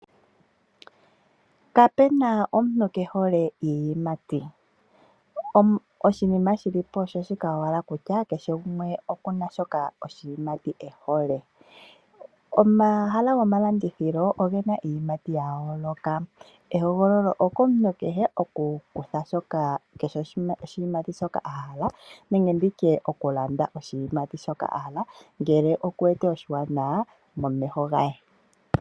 Kapena omuntu kehole iiyimati, oshinima shilipo osho shika owala kutya kehe gumwe okuna oshimati shoka ehole ,omahala gomalandithilo ongena iiyimati yayoloka, ehogololo okomuntu kehe oku kutha shoka, kehe oshimati shoka ahala nenge nditye okulanda oshimati shokà ahala ngele oku wete oshanawa momeho ge.